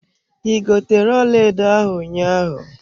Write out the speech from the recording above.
I gotere ọlaedo ahụ ụnyaahụ.